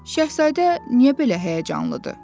Şahzadə niyə belə həyəcanlıdır?